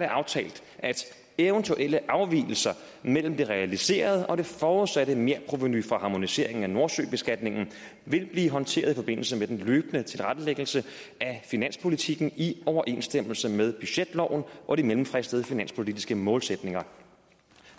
det aftalt at eventuelle afvigelser mellem det realiserede og det forudsatte merprovenu for harmoniseringen af nordsøbeskatningen vil blive håndteret i forbindelse med den løbende tilrettelæggelse af finanspolitikken i overensstemmelse med budgetloven og de mellemfristede finanspolitiske målsætninger